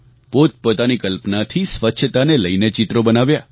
પોતપોતાની કલ્પનાથી સ્વચ્છતાને લઈને ચિત્રો બનાવ્યા